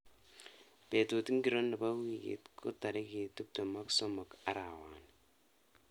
Betut ngiro nebo wiikit ko tarik tuptem ak somok arawani